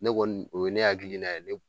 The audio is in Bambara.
Ne kɔni o ye ne hakiliina ye ne